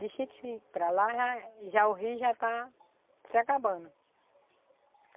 De chique-chique para lá, já é, já o rio já está se acabando.